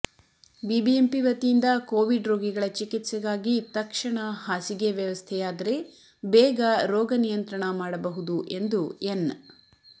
BBMP ವತಿಯಿಂದ covid ರೋಗಿಗಳ ಚಿಕಿತ್ಸೆಗಾಗಿ ತಕ್ಷಣ ಹಾಸಿಗೆ ವ್ಯವಸ್ಥೆಯಾದರೆ ಬೇಗ ರೋಗ ನಿಯಂತ್ರಣ ಮಾಡಬಹುದು ಎಂದು ಎನ್